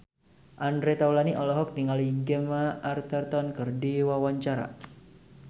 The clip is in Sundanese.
Andre Taulany olohok ningali Gemma Arterton keur diwawancara